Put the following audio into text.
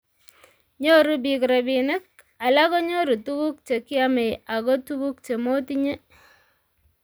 Nyoru biik robinik, alak konyoru tuguk chekiame ago tuguk chemotinye